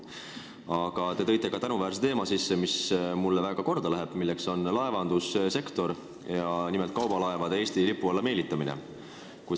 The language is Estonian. Aga te tõite sisse tänuväärse teema, mis mulle väga korda läheb, see on laevandussektor ja nimelt kaubalaevade Eesti lipu alla meelitamine.